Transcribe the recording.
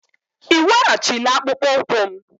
Ị weghachila akpụkpọ ụkwụ m?